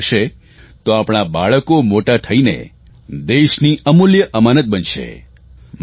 જો આમ થશે તો આપણાં આ બાળકો મોટા થઇને દેશની અમૂલ્ય અનામત બનશે